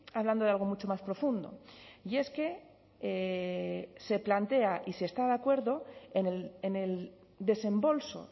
hablando de algo mucho más profundo y es que si plantea y si está de acuerdo en el desembolso